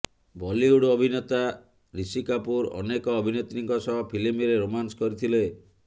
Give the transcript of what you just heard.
ବଲିଉଡ ଅଭିନେତା ୠଷି କପୁର ଅନେକ ଅଭିନେତ୍ରୀଙ୍କ ସହ ଫିଲ୍ମରେ ରୋମାନ୍ସ କରିଥିଲେ